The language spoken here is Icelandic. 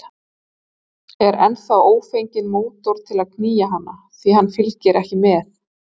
Er þá ófenginn mótor til að knýja hana, því hann fylgir ekki með.